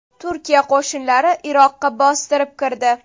Turkiya qo‘shinlari Iroqqa bostirib kirdi.